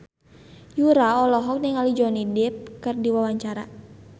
Yura olohok ningali Johnny Depp keur diwawancara